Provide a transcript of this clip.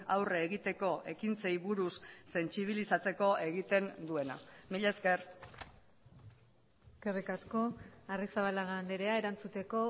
aurre egiteko ekintzei buruz sentsibilizatzeko egiten duena mila esker eskerrik asko arrizabalaga andrea erantzuteko